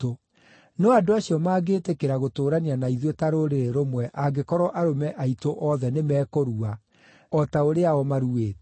No andũ acio mangĩtĩkĩra gũtũũrania na ithuĩ ta rũrĩrĩ rũmwe angĩkorwo arũme aitũ othe nĩmekũrua, o ta ũrĩa o maruĩte.